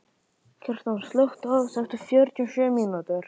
Kjartan, slökktu á þessu eftir fjörutíu og sjö mínútur.